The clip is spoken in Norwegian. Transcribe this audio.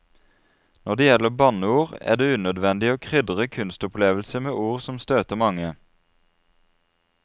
Når det gjelder banneord, er det unødvendig å krydre kunstopplevelse med ord som støter mange.